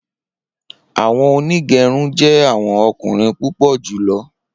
Awọn onigerun jẹ awọn ọkunrin pupọ julọ